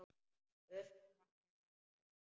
Ufsa eða þorska?